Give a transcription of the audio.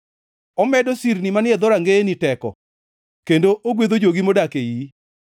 Omedo sirni manie dhorangeyeni teko, kendo ogwedho jogi modak e iyi.